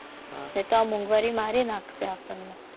એ તો મોંઘવારી મારી નાખશે. આપણને